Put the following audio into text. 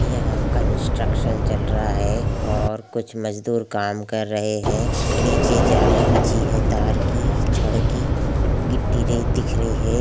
यहाँ कॉन्सट्रकशन चल रहा है और कुछ मजदूर काम कर रहे है नीचे जाली बिछी है तार की छड़ की गिट्टी रेत दिख रही है।